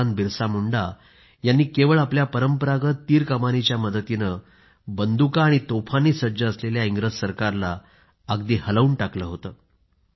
भगवान बिरसा मुंडा यांनी केवळ आपल्या परंपरागत धनुष्यबाणाच्या मदतीने बंदुका आणि तोफांनी सज्ज असलेल्या इंग्रज सरकारला अगदी हलवून टाकलं होतं